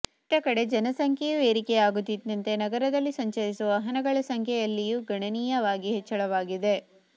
ಇತ್ತಕಡೆ ಜನಸಂಖ್ಯೆಯೂ ಏರಿಕೆಯಾಗುತ್ತಿದ್ದಂತೆ ನಗರದಲ್ಲಿ ಸಂಚರಿಸುವ ವಾಹನಗಳ ಸಂಖ್ಯೆ ಯಲ್ಲಿಯೂ ಗಣನೀಯವಾಗಿ ಹೆಚ್ಚಳವಾಗಿದೆ